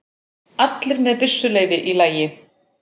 Allir með byssuleyfi í lagi